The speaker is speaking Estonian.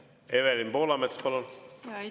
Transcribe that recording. Evelin Poolamets, palun!